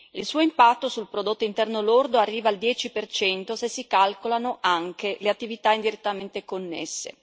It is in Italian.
Il suo impatto sul prodotto interno lordo arriva al 10 se si calcolano anche le attività indirettamente connesse.